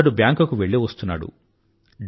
అతడు బ్యాంక్ కు వెళ్ళివస్తున్నాడు